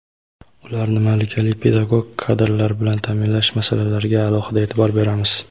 ularni malakali pedagog kadrlar bilan taʼminlash masalalariga alohida eʼtibor beramiz.